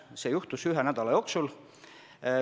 See juhtus ühe nädala jooksul.